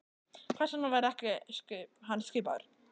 Hvers vegna var hann ekki skipaður?